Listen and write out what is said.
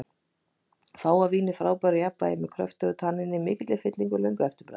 Fágað vín í frábæru jafnvægi, með kröftugu tanníni, mikilli fyllingu og löngu eftirbragði.